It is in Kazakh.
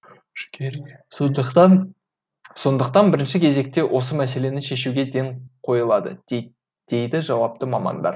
сондықтан бірінші кезекте осы мәселені шешуге ден қойылады дейді жауапты мамандар